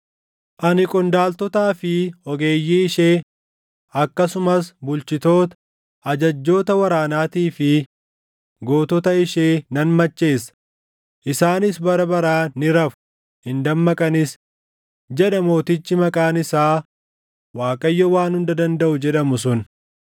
Ani qondaaltotaa fi ogeeyyii ishee, akkasumas bulchitoota, ajajjoota waraanaatii fi // gootota ishee nan macheessa; isaanis bara baraan ni rafu; hin dammaqanis,” jedha mootichi maqaan isaa Waaqayyo Waan Hunda Dandaʼu, // jedhamu sun.